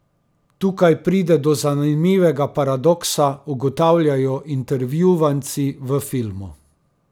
Tukaj pride do zanimivega paradoksa, ugotavljajo intervjuvanci v filmu.